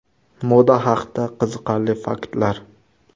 Moda haqida qiziqarli faktlar.